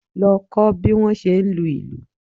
Lọ kọ́ bí wọ́n ṣe ń lu ìlù!